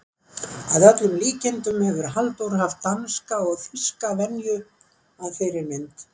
Að öllum líkindum hefur Halldór haft danska og þýska venju að fyrirmynd.